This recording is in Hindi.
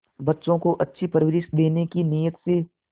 बच्चों को अच्छी परवरिश देने की नीयत से